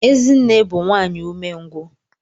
Ezinne bu nwanyi umengwu.